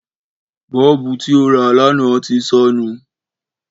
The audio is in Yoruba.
Bọ́ọ̀bù tí ó rà lánàá ti sọnù